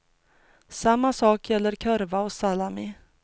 Samma sak gäller korvar och salami.